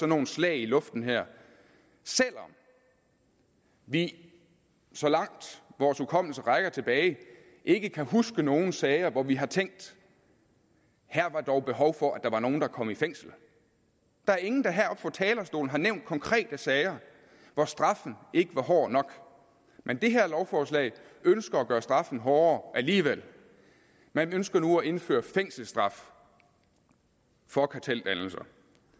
nogle slag i luften her selv om vi så langt vores hukommelse rækker tilbage ikke kan huske nogen sager hvor vi har tænkt her var dog behov for at der var nogle der kom i fængsel der er ingen der heroppe fra talerstolen har nævnt konkrete sager hvor straffen ikke var hård nok men det her lovforslag ønsker at gøre straffen hårdere alligevel man ønsker nu at indføre fængselsstraf for karteldannelser